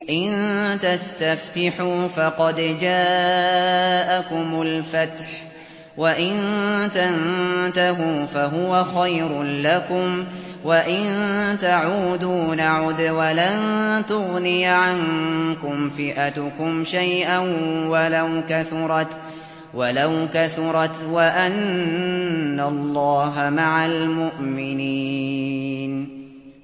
إِن تَسْتَفْتِحُوا فَقَدْ جَاءَكُمُ الْفَتْحُ ۖ وَإِن تَنتَهُوا فَهُوَ خَيْرٌ لَّكُمْ ۖ وَإِن تَعُودُوا نَعُدْ وَلَن تُغْنِيَ عَنكُمْ فِئَتُكُمْ شَيْئًا وَلَوْ كَثُرَتْ وَأَنَّ اللَّهَ مَعَ الْمُؤْمِنِينَ